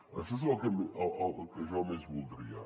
això és el que jo més voldria